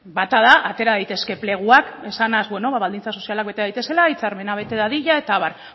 bata da atera daitezke pleguak esanaz beno baldintza sozialak bete daitezela hitzarmena bete dadila eta abar